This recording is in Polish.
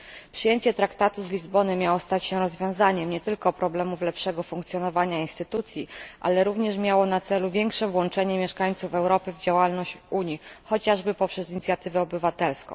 Przyjęcie Traktatu z Lizbony miało stać się rozwiązaniem nie tylko problemów lepszego funkcjonowania instytucji, ale również miało na celu większe włączenie mieszkańców Europy w działalność Unii, chociażby przez inicjatywę obywatelską.